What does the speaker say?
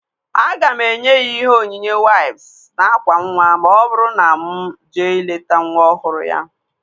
Aga m enye ya ihe onyinye waips na ákwà nwa ma ọ bụrụ na mụ jee ileta nwa ọhụrụ ya